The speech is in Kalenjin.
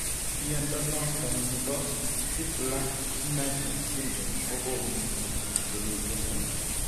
Mnyondo noton nebo Crigler Najjar syndrome kogonu mutations chemiten en